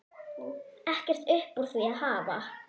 Ekkert upp úr því að hafa?